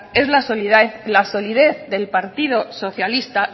es la solidez del partido socialista